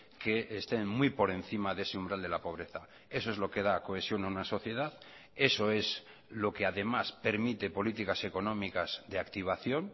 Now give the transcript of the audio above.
que estén muy por encima de ese umbral de la pobreza eso es lo que da cohesión a una sociedad eso es lo que además permite políticas económicas de activación